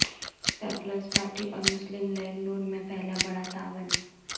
Peoples party اور Muslim League ن میں پہلا بڑا تعاون